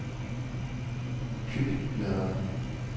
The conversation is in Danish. Kykladerne